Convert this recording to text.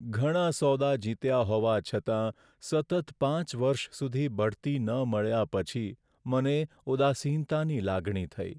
ઘણા સોદા જીત્યા હોવા છતાં સતત પાંચ વર્ષ સુધી બઢતી ન મળ્યા પછી મને ઉદાસીનતાની લાગણી થઈ.